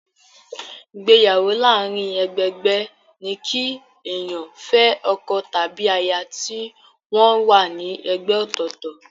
Ìgbéyàwó láàárín ẹgbẹ-ẹgbẹ́ ní kí èèyàn fẹ́ ọkọ tàbí aya tí wọ́n wà ní ẹgbẹ́ ọ̀tọ̀ọ̀tọ̀.